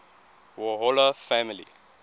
warhola family